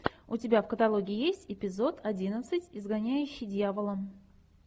у тебя в каталоге есть эпизод одиннадцать изгоняющий дьявола